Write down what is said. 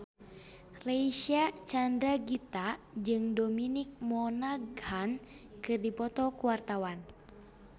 Reysa Chandragitta jeung Dominic Monaghan keur dipoto ku wartawan